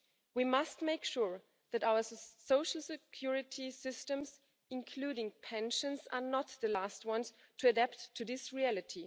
We must make sure that our social security systems, including pensions, are not the last ones to adapt to this reality.